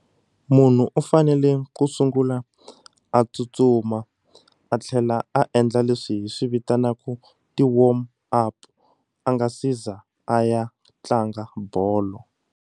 Munhu u fanele ku sungula a tsutsuma a tlhela a endla leswi hi swi vitanaka ti warm up a nga si za a ya tlanga bolo.